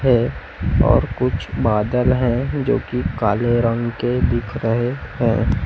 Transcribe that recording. है और कुछ बादल है जो कि काले रंग के दिख रहे हैं।